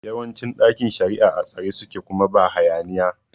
Yawancin ɗakin shari'a a tsare suke kuma ba hayaniya